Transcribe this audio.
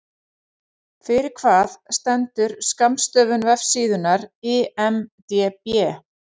Fyrir hvað stendur skammstöfun vefsíðunnar IMDB?